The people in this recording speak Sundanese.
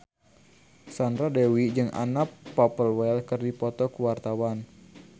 Sandra Dewi jeung Anna Popplewell keur dipoto ku wartawan